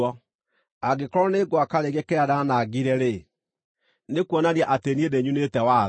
Angĩkorwo nĩ ngwaka rĩngĩ kĩrĩa ndaanangire-rĩ, nĩkuonania atĩ niĩ nĩnyunĩte watho.